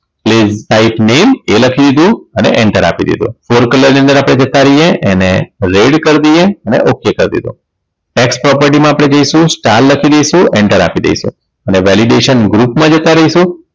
Please type name એ લખી દીધું અને enter આપી દીધું for colour ની અંદર આપણે જતા રહીએ અને red કર દઈએ અને okay કરી દીધું tax property મા આપણે જઈશું star લખી દઈશું enter આપી દઈશું અને validation group મા જતા રહીશું